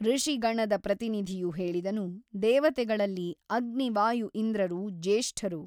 ಋಷಿಗಣದ ಪ್ರತಿನಿಧಿಯು ಹೇಳಿದನು ದೇವತೆಗಳಲ್ಲಿ ಅಗ್ನಿ ವಾಯು ಇಂದ್ರರು ಜ್ಯೇಷ್ಠರು.